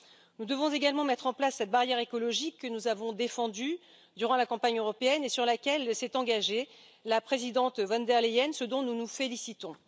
Nous devons également mettre en place cette barrière écologique que nous avons défendue durant la campagne européenne et sur laquelle s'est engagée la présidente von der Leyen, ce dont nous nous félicitons.